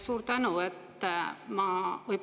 Suur tänu!